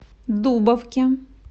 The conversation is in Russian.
дубовке